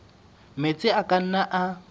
metsi a ka nnang a